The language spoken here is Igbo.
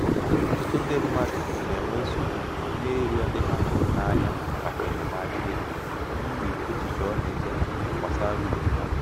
ọtụtụ ndị mmadụ na-enwe nsogbu n'ịrịọ ndị ha hụrụ n'anya maka enyemaka ego n'ihi echiche ọ na-eche ha gbasara ugwu ha.